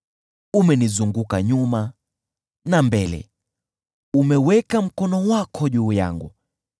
Umenizunguka nyuma na mbele; umeweka mkono wako juu yangu.